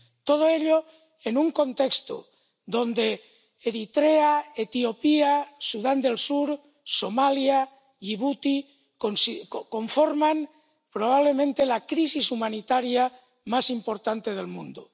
Todo ello en un contexto donde Eritrea, Etiopía, Sudán del Sur, Somalia y Yibuti conforman probablemente la crisis humanitaria más importante del mundo.